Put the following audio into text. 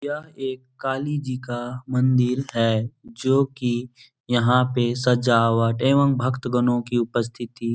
यह एक काली जी का मंदिर है जो की यहाँ पे सजावट एवं भक्त गनों की उपस्थिति --